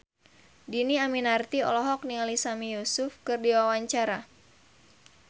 Dhini Aminarti olohok ningali Sami Yusuf keur diwawancara